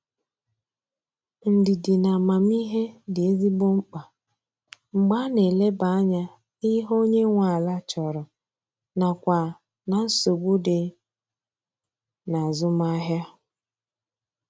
Ndidi na amamihe dị ezigbo mkpa mgbe a na eleba anya n'ihe onye nwe ala chọrọ nakwa na nsogbu dị n'azụmahia.